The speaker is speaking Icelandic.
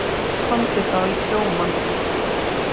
Komdu þá í sjómann.